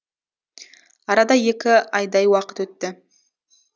арада екі айдай уақыт өтті